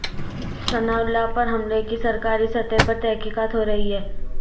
ثناءاللہ پر حملے کی سرکاری سطح پر تحقیقات ہو رہی ہیں